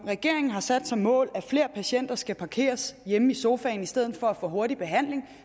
regeringen har sat som mål at flere patienter skal parkeres hjemme i sofaen i stedet for at få hurtig behandling